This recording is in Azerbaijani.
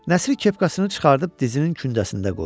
Nəsir kepkasını çıxardıb dizinin kündəsində qoydu.